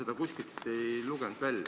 Ma ei lugenud seda kuskilt välja.